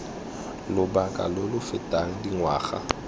lobaka lo lo fetang dingwaga